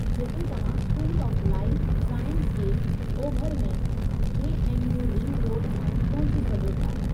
जिथे तव्हां school of life sciences जे ओभर में, J. N. U. Ring road सां पहुची सघो था।